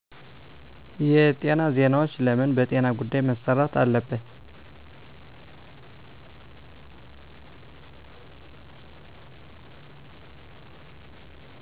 የጤና ዜናዎች ለምን በጤና ጉዳይ መሰራትአለበት